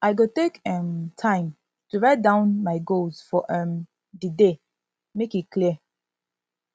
i go take um time to write down to write down um my goals for um di day make e clear